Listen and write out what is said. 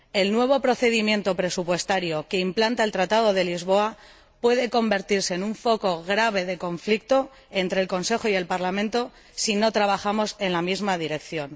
El nuevo procedimiento presupuestario que implanta el Tratado de Lisboa puede convertirse en un foco grave de conflicto entre el Consejo y el Parlamento si no trabajamos en la misma dirección.